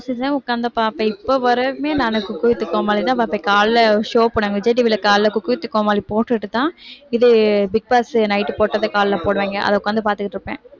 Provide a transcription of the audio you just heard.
season உக்காந்து பாப்பேன் இப்ப வரையுமே நானு குக் வித் கோமாளிதான் பார்ப்பேன் காலையில ஒரு show போட்டாங்க விஜய் TV ல காலையில குக் வித் கோமாளி போட்டுட்டுதான் இது பிக் பாஸ் night போட்டதை காலையில போடுவாங்க அதை உட்காந்து பாத்துட்டு இருப்பேன்